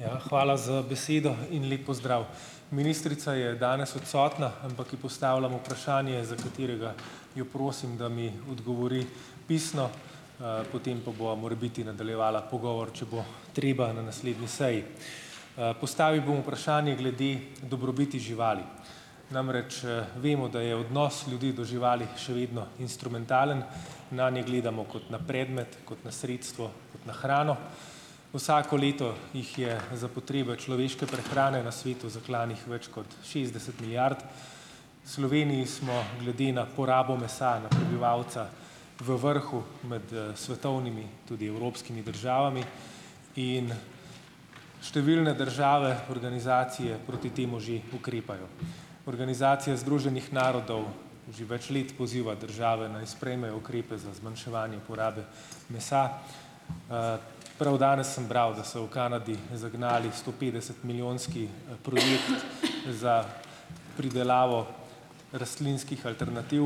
Hvala za besedo in lep pozdrav. Ministrica je danes odsotna, ampak ji postavljam vprašanje, za katerega jo prosim, da mi odgovori pisno, potem pa bova morebiti nadaljevala pogovor, če bo treba, na naslednji seji. Postavil bom vprašanje glede dobrobiti živali. Namreč, vemo, da je odnos ljudi do živali še vedno instrumentalen. Nanj ne gledamo kot na predmet, kot na sredstvo, kot na hrano. Vsako leto jih je za potrebe človeške prehrane na svetu zaklanih več kot šestdeset milijard. Sloveniji smo glede na porabo mesa na prebivalca v vrhu med svetovnimi, tudi evropskimi državami in številne države, organizacije proti temu že ukrepajo. Organizacija združenih narodov že več let poziva države, naj sprejmejo ukrepe za zmanjševanje porabe mesa. Prav danes sem bral, da so v Kanadi zagnali stopetdesetmilijonski produkt za pridelavo rastlinskih alternativ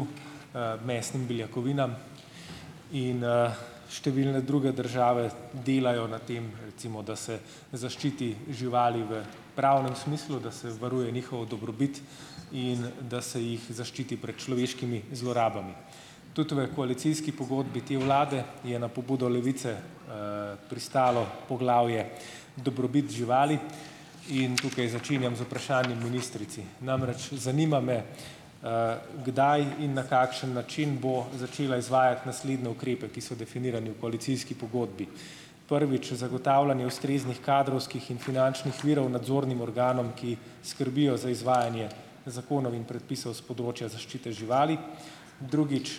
mesnim beljakovinam in številne druge države delajo na tem, recimo, da se zaščiti živali v pravnem smislu, da se varuje njihovo dobrobit in da se jih zaščiti pred človeškimi zlorabami. Tudi v koalicijski pogodbi te vlade je na pobudo Levice pristalo poglavje dobrobit živali in tukaj začenjam z vprašanjem ministrici, namreč, zanima me, kdaj in na kakšen način bo začela izvajati naslednje ukrepe, ki so definirani v koalicijski pogodbi, prvič, zagotavljanje ustreznih kadrovskih in finančnih virov nadzornim organom, ki skrbijo za izvajanje zakonov in predpisov s področja zaščite živali, drugič,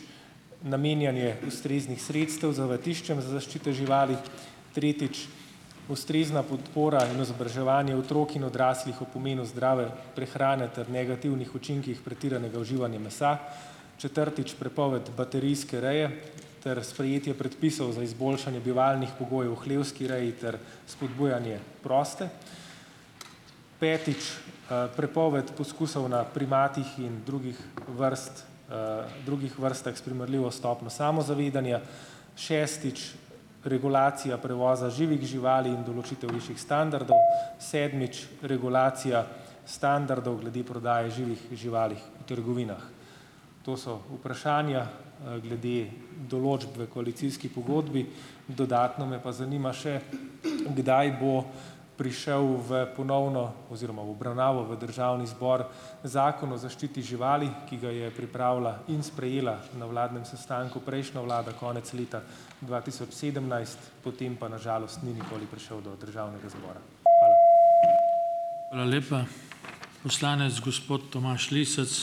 namenjanje ustreznih sredstev zavetiščem za zaščito živali, tretjič, ustrezna podpora in izobraževanje otrok in odraslih o pomenu zdravja, prehrane ter negativnih učinkih pretiranega uživanja mesa, četrtič, prepoved baterijske reje ter sprejetje predpisov za izboljšanje bivalnih pogojev v hlevski reji ter spodbujanje proste, petič, prepoved poskusov na primatih in drugih vrst drugih vrstah s primerljivo stopnjo samozavedanja, šestič, regulacija prevoza živih živali in določitev višjih standardov, sedmič, regulacija standardov glede prodaje živih živali v trgovinah. To so vprašanja glede določb v koalicijski pogodbi, dodatno me pa zanima še, kdaj bo prišel v ponovno oziroma v obravnavo v Državni zbor, Zakon o zaščiti živali, ki ga je pripravila in sprejela, na vladnem sestanku, prejšnja vlada, konec leta dva tisoč sedemnajst, potem pa na žalost ni nikoli prišel do Državnega zbora.